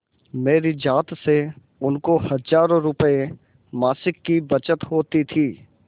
मेरी जात से उनको हजारों रुपयेमासिक की बचत होती थी